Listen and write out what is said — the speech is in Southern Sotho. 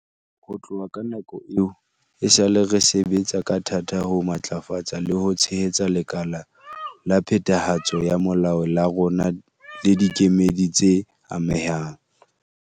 Ho tloha ka nako eo, esale re sebetsa ka thata ho matlafatsa le ho tshehetsa lekala la phethahatso ya molao la rona le dikemedi tse amehang.